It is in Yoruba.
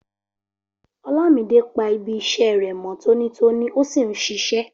Olamide pa ibi iṣẹ́ rẹ̀ mọ́ tónítóní ó sì ń ṣiṣẹ́.